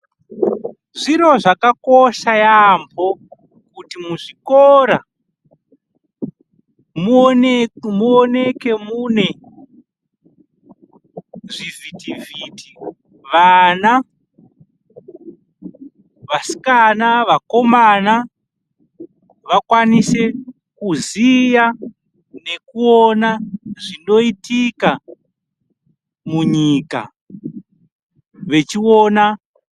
Zviro zvakakosha yaamho kuti muzvikora muoneke mune zvivhitivhiti. Vana, vasikana, vakomana vakwanise kuziya nekuona zvinoitika munyika, vechiona.